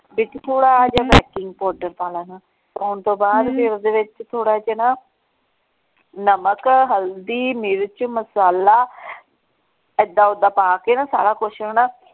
ਵਿੱਚ ਥੋੜਾ ਜਿਹਾ baking powder ਪਾ ਲੈਣਾ ਪਾਉਣ ਤੋਂ ਬਾਅਦ ਫੇਰ ਓਹਦੇ ਵਿੱਚ ਥੋੜਾ ਜਿਹਾ ਨਾ ਨਮਕ ਹਲਦੀ ਮਿਰਚ ਮਸਾਲਾ ਏਦਾਂ ਓਦਾਂ ਪਾ ਕੇ ਨਾ ਸਾਰਾ ਕੁੱਛ ਹਣਾ।